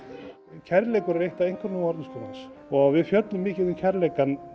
kærleikur er eitt af einkunnarorðum skólans og við fjöllum mikil um kærleikann